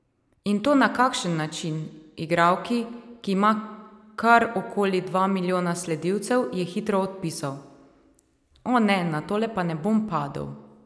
In to na kakšen način, igralki, ki ima kar okoli dva milijona sledilcev, je hitro odpisal: "O, ne, Na tole pa ne bom padel.